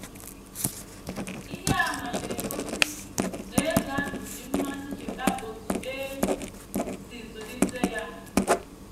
Ihe àmà na - egosi na eze ahụ ji mmasị cheta otú e si zụlite ya.